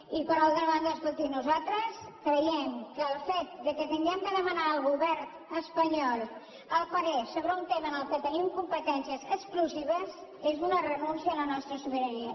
i per altra banda escolti nosaltres creiem que el fet que hàgim de demanar al govern espanyol el parer sobre un tema en el qual tenim competències exclusives és una renúncia a la nostra sobirania